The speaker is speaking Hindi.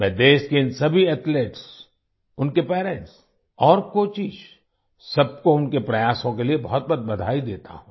मैं देश के इन सभी एथलीट्स उनके पेरेंट्स और कोचेस सबको उनके प्रयासों के लिए बहुतबहुत बधाई देता हूँ